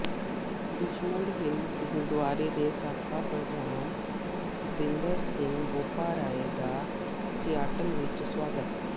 Richmond Hill Gurdwara ਦੇ ਸਾਬਕਾ ਪ੍ਰਧਾਨ ਭੁਪਿੰਦਰ ਸਿੰਘ ਬੋਪਾਰਾਏ ਦਾ ਸਿਆਟਲ ਵਿਚ ਸਵਾਗਤ